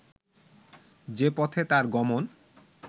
যে পথে তাঁর গমন